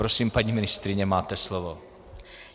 Prosím, paní ministryně, máte slovo.